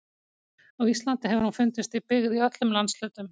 Á Íslandi hefur hún fundist í byggð í öllum landshlutum.